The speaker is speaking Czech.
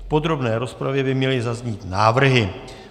V podrobné rozpravě by měly zaznít návrhy.